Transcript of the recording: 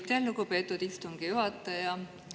Aitäh, lugupeetud istungi juhataja!